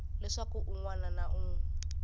leswaku un wana na un